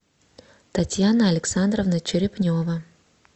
татьяна александровна черепнева